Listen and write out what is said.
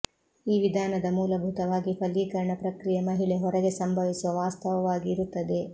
ಈ ವಿಧಾನದ ಮೂಲಭೂತವಾಗಿ ಫಲೀಕರಣ ಪ್ರಕ್ರಿಯೆ ಮಹಿಳೆ ಹೊರಗೆ ಸಂಭವಿಸುವ ವಾಸ್ತವವಾಗಿ ಇರುತ್ತದೆ